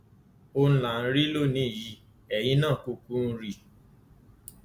òun là ń rí lónìín yìí eyín náà kúkú ń rí i